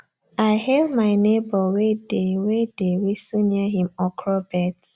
i hail my neighbor wey dey wey dey whistle near him okra beds